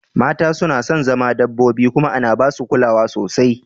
Mata suna son zama dabbobi kuma ana ba su kulawa sosai